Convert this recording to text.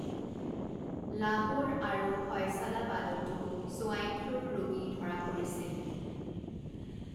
লাহোৰ আৰু ফয়ছালাবাদতো ছোৱাইন ফ্লুৰ ৰোগী ধৰা পৰিছিল।